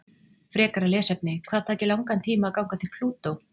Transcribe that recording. Frekara lesefni: Hvað tæki langan tíma að ganga til Plútó?